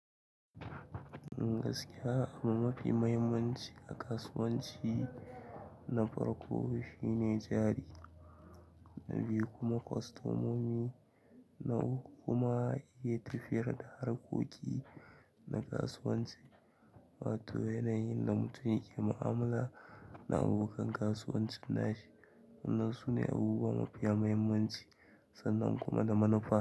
Gaskiya abu mafi muhimmanci a kasuwanci na farko shine jari, na biyu kuma kwastomomi, na uku kuma iya tafiyar da harkoki na kasuwanci, wato yanayin da mutum yake mu'amala da abokan kasuwancin nashi. Wannan sune abubuwa mafiya muhimmanci sannan kuma da manufa.